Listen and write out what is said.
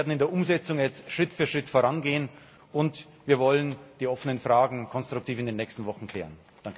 hat. Wir werden in der Umsetzung jetzt Schritt für Schritt vorangehen und wir wollen die offenen Fragen konstruktiv in den nächsten Wochen klären.